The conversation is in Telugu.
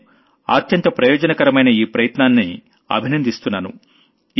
నేను అత్యంత ప్రయోజనకరమైన ఈ ప్రయత్నాన్ని అభినందిస్తున్నాను